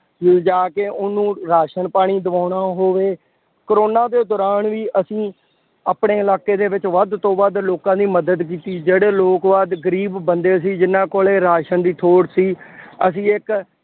ਲਿਜਾ ਕੇ ਉਹਨੂੰ ਰਾਸ਼ਨ ਪਾਣਿ ਦਿਵਉਣਾ ਹੋਵੇ। ਕੋਰੋਨਾ ਦੇ ਦੌਰਾਨ ਵੀ ਅਸੀਂ ਆਪਣੇ ਇਲਾਕੇ ਦੇ ਵਿੱਚ ਵੱਧ ਤੋਂ ਵੱਧ ਲੋਕਾਂ ਦੀ ਮਦਦ ਕੀਤੀ ਜਿਹੜੇ ਲੋਕ ਵੱਧ ਗਰੀਬ ਬੰਦੇ ਸੀ ਜਿੰਨਾ ਕੋਲੇ ਰਾਸ਼ਨ ਦੀ ਥੋੜ੍ਹ ਸੀ। ਅਸੀਂ ਇੱਕ